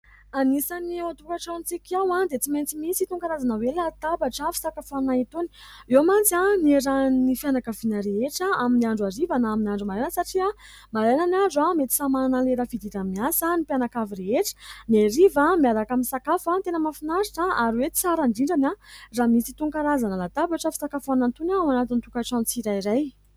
Anisan'ny ao an-tokantranontsika ao dia tsy maintsy misy itony karazana hoe latabatra fisakafoanana itony. Eo mantsy no iarahan'ny fianakaviana rehetra amin'ny andro hariva na amin'ny andro maraina satria maraina ny andro mety samy manana ny lera fidirana miasa ny mpianakavy rehetra, ny hariva miaraka misakafo. Tena mahafinaritra ary hoe tsara indrindra raha misy itony karazana latabatra fisakafoanana itony ao anatin'ny tokantrano tsirairay.